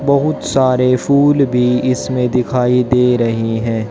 बहुत सारे फूल भी इसमें दिखाई दे रहे हैं।